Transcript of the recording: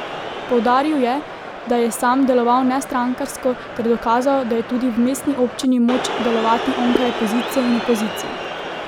Poudaril je, da je sam deloval nestrankarsko ter dokazal, da je tudi v mestni občini moč delovati onkraj pozicije in opozicije.